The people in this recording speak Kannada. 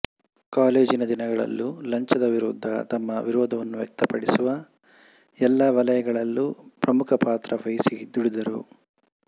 ಕಾಲೇಜಿನ ದಿನಗಳಲ್ಲೂ ಲಂಚದ ವಿರುದ್ಧ ತಮ್ಮ ವಿರೋಧವನ್ನು ವ್ಯಕ್ತಪಡಿಸುವ ಎಲ್ಲಾ ವಲಯಗಳಲ್ಲೂ ಪ್ರಮುಖಪಾತ್ರ ವಹಿಸಿ ದುಡಿದರು